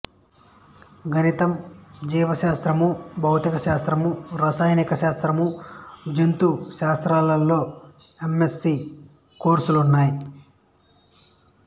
గణితం జీవ శాస్త్రము భౌతిక శాస్త్రము రసాయనిక శాస్త్రము జంతు శాస్త్రములలో ఎమ్ఎస్సి కోర్సులున్నాయి